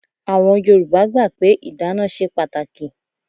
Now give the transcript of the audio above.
Àwọn Yorùbá gbà pé ìdána ṣe pàtàkì.